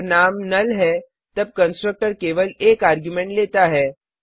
जब नाम नुल है तब कंस्ट्रक्टर केवल एक आर्ग्युमेंट लेता है